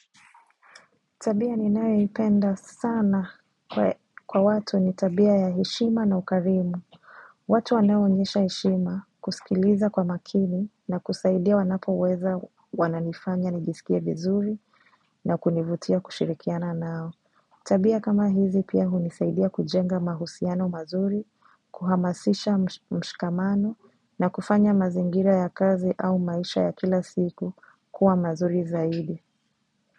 Tabia ninayoipenda sana kwa watu ni tabia ya heshima na ukarimu. Watu wanao onyesha heshima, kusikiliza kwa makini na kusaidia wanapoweza wananifanya nijisikie vizuri na kunivutia kushirikiana nao. Tabia kama hizi pia hunisaidia kujenga mahusiano mazuri, kuhamasisha mshikamano na kufanya mazingira ya kazi au maisha ya kila siku kuwa mazuri zaidi.